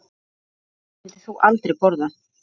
Hvað myndir þú aldrei borða?